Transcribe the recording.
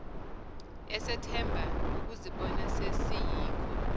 esethemba ukuzibona sesiyikho